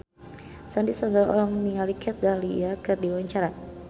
Sandy Sandoro olohok ningali Kat Dahlia keur diwawancara